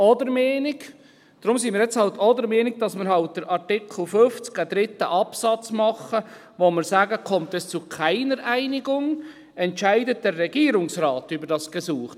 Deshalb sind wir jetzt halt auch der Meinung, dass man halt in Artikel 50 einen dritten Absatz macht, in dem wir sagen: «Kommt es zu keiner Einigung, entscheidet der Regierungsrat über das Gesuch.»